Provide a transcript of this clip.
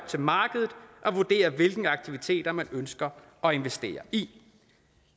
til markedet at vurdere hvilke aktiviteter man ønsker at investere i